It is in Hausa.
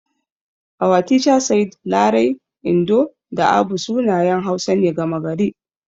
Our teacher said Larai, Indo da Abu sunayen Hausa ne gama gari.